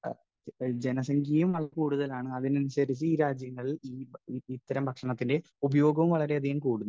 Speaker 1 ജനസംഖ്യയും കൂടുതലാണ്, അതിനനുസരിച്ച് ഈ രാജ്യങ്ങളിൽ ഇത്തരം ഭക്ഷണത്തിന്റെ ഉപയോഗവും വളരെയധികം കൂടുന്നു.